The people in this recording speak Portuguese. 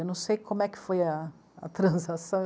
Eu não sei como é que foi a, a transação.